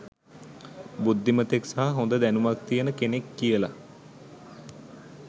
බුද්ධිමතෙක් සහ හොඳ දැනුමක් තියෙන කෙනෙක් කියල